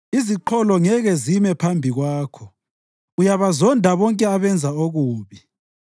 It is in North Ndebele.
Iziqholo ngeke zime phambi kwakho; uyabazonda bonke abenza okubi.